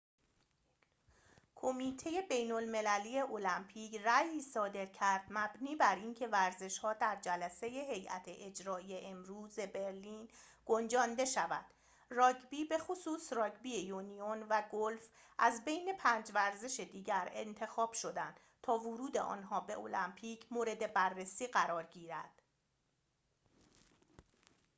کمیته بین‌المللی المپیک رأیی صادر کرد مبنی بر اینکه ورزش‌ها در جلسه هیئت اجرایی امروز برلین گنجانده شود راگبی بخصوص راگبی یونیون و گلف از بین پنج ورزش دیگر انتخاب شدند تا ورود آنها به المپیک مورد بررسی قرار گیرد